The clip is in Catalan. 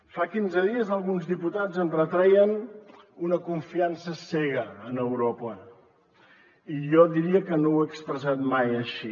fa quinze dies alguns diputats em retreien una confiança cega en europa i jo diria que no ho he expressat mai així